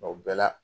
bɛɛ la